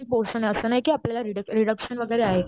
किती पोरशने आपल्याला असं नाहीये कि आपल्याला रिडक रिडक्शन वगैरे आहे.